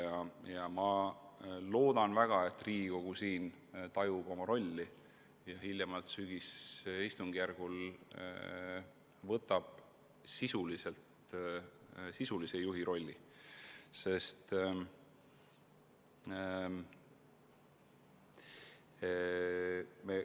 Ma väga loodan, et Riigikogu tajub oma ülesannet ja võtab hiljemalt sügisistungjärgul enda kanda sisulise juhi rolli.